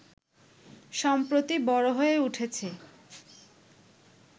সম্প্রতি বড় হয়ে উঠেছে